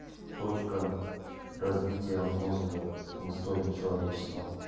точка развития мозга в истории человечества